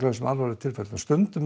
þessum alvarlegu tilfellum stundum